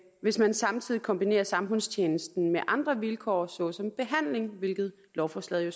hvis man samtidig kombinerer samfundstjenesten med andre vilkår såsom behandling hvilket lovforslaget jo